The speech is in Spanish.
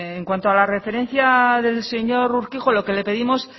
en cuanto a la referencia del señor urquijo lo que le pedimos